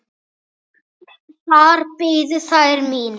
Þar biðu þær mín.